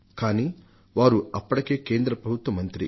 కానీ వారు అప్పటికే కేంద్ర ప్రభుత్వంలో మంత్రి